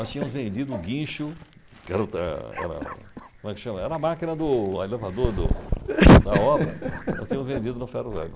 Nós tínhamos vendido o guincho, (todos] como é que chama? era a máquina do do - elevador do da obra, nós tínhamos vendido no ferro-velho.